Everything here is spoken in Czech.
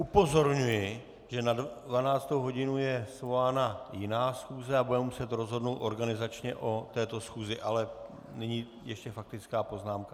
Upozorňuji, že na 12. hodinu je svolána jiná schůze a budeme muset rozhodnout organizačně o této schůzi, ale nyní ještě faktická poznámka.